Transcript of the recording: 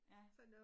Ja